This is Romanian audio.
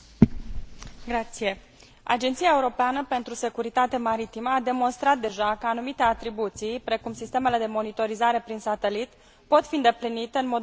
Agenția europeană pentru securitate maritimă a demonstrat deja că anumite atribuții precum sistemele de monitorizare prin satelit pot fi îndeplinite în mod mai eficient la nivel european.